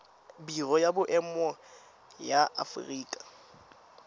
biro ya boemo ya aforika